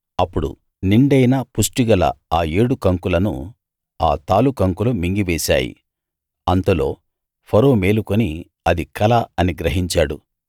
అప్పుడు నిండైన పుష్టిగల ఆ ఏడు కంకులను ఆ తాలుకంకులు మింగివేశాయి అంతలో ఫరో మేలుకుని అది కల అని గ్రహించాడు